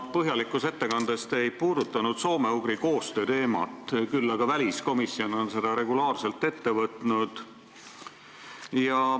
Oma põhjalikus ettekandes ei puudutanud te soome-ugri koostöö teemat, küll aga on väliskomisjon seda teemat regulaarselt ette võtnud.